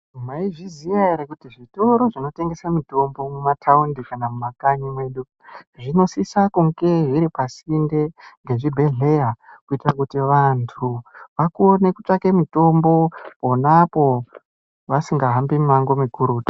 Maizviziya ere kuti zvitoro zvinotengese mitombo, mumataundi kana mumakanyi mwedu zvinosisa kunge zviripasinde ngezvibhedhlera, kuita kuti antu akone kutsvake mitombo ponapo vasingahambi mimango mikurutu.